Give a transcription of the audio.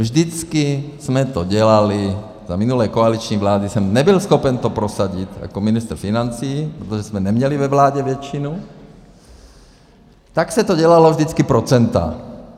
Vždycky jsme to dělali, za minulé koaliční vlády jsem nebyl schopen to prosadit jako ministr financí, protože jsme neměli ve vládě většinu, tak se to dělalo vždycky procenty.